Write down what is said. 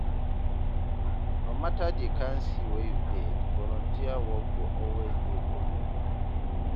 no mata di kain skill wey yu get, volunteer wok go always dey for yu.